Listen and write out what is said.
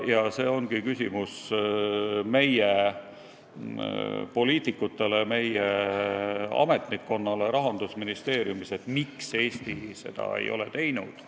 Ja see ongi küsimus meie poliitikutele, meie ametnikkonnale Rahandusministeeriumis, miks Eesti seda ei ole teinud.